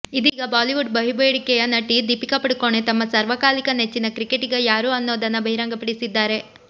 ಇದೀಗ ಬಾಲಿವುಡ್ ಬಹುಬೇಡಿಕೆಯ ನಟಿ ದೀಪಿಕಾ ಪಡುಕೋಣೆ ತಮ್ಮ ಸಾರ್ವಕಾಲಿಕ ನೆಚ್ಚಿನ ಕ್ರಿಕಟಿಗ ಯಾರು ಅನ್ನೋದನ್ನು ಬಹಿರಂಗ ಪಡಿಸಿದ್ದಾರೆ